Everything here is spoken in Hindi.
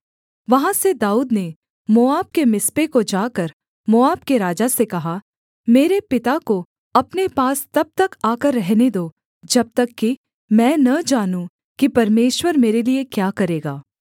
वहाँ से दाऊद ने मोआब के मिस्पे को जाकर मोआब के राजा से कहा मेरे पिता को अपने पास तब तक आकर रहने दो जब तक कि मैं न जानूं कि परमेश्वर मेरे लिये क्या करेगा